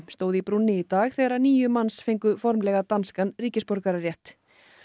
stóð í brúnni í dag þegar níu manns fengu formlega danskan ríkisborgararétt